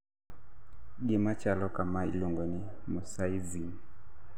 gima chalo kamae iluongo ni mosaicism